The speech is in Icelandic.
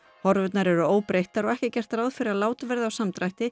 horfurnar eru óbreyttar og ekki er gert ráð fyrir að lát verði á samdrætti